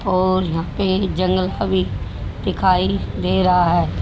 और यहां पे जंगल का भी दिखाई दे रहा है।